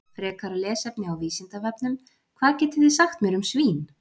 Frekara lesefni á Vísindavefnum: Hvað getið þið sagt mér um svín?